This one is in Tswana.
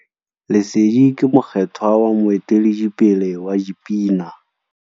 Lesedi ke mokgêthwa wa moeteledipele wa dipina.